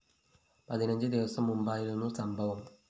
പതിനഞ്ച് ദിവസം മുമ്പായിരുന്നു സംഭവം